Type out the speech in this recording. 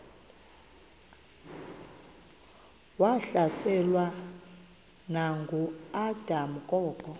wahlaselwa nanguadam kok